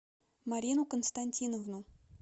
марину константиновну